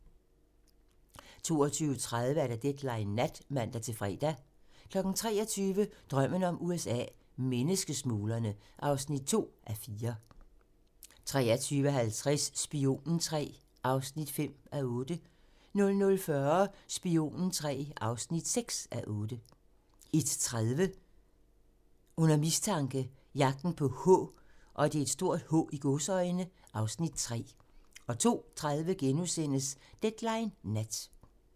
22:30: Deadline Nat (man-fre) 23:00: Drømmen om USA: Menneskesmuglerne (2:4) 23:50: Spionen III (5:8) 00:40: Spionen III (6:8) 01:30: Under mistanke - Jagten på "H" (Afs. 3) 02:30: Deadline Nat *(man)